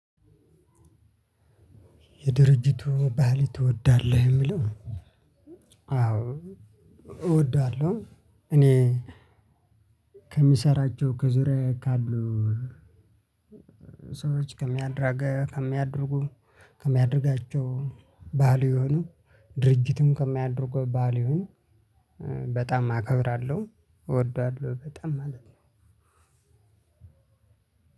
የድርጅቱ ባህል ትወዳለህ እሚለው? አዎ እወዳለሁ። እኔ ከሚሰራቸው ከዙሪያዬ ካሉ ሰዎች ከሚያደ ከሚያደርጉ ከሚያደርጋቸው ቫሊዩ የሆኑ ድርጅቱም ከሚያደርገው ቫሊዩ ይሁን። በጣም አከብራለሁ እወደዋለሁ በጣም ማለት ነው።